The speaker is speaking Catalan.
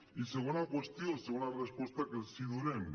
i segona qüestió segona resposta que els donem